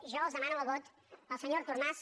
jo els demano el vot per al senyor artur mas